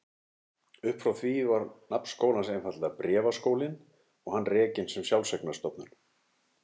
Uppfrá því var nafn skólans einfaldlega Bréfaskólinn og hann rekinn sem sjálfseignarstofnun.